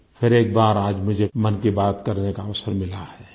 फिर एक बार मुझे मन की बात करने का अवसर मिला है